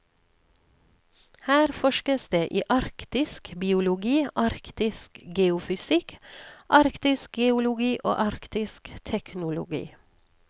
Her forskes det i arktisk biologi, arktisk geofysikk, arktisk geologi og arktisk teknologi.